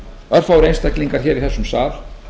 örfáir einstaklingar hér í þessum sal